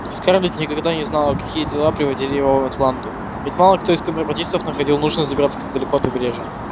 скарлетт никогда не знала какие дела приводили его в атланту ведь мало кто из контрабандистов находил нужным забираться так далеко от побережья